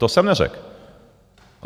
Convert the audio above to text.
To jsem neřekl.